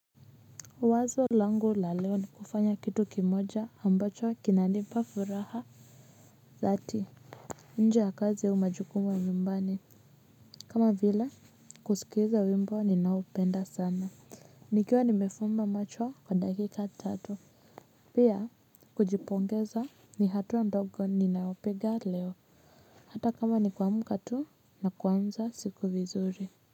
Wazo langu la leo ni kufanya kitu kimoja ambacho kinanipa furaha. Dhati nje ya kazi au majukumu ya nyumbani kama vile kusikiza wimbo ninaopenda sana. Nikiwa nimefumba macho kwa dakika tatu. Pia kujipongeza ni hatua ndogo ninayopiga leo. Hata kama ni kuamka tu na kuanza siku vizuri.